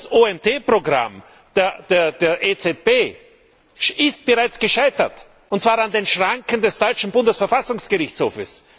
Das OMT Programm der EZB ist bereits gescheitert, und zwar an den Schranken des deutschen Bundesverfassungsgerichtshofs.